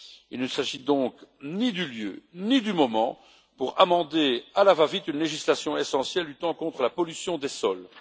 Il ne s'agit donc ni du lieu ni du moment pour amender à la va vite une législation essentielle luttant contre la pollution des sols.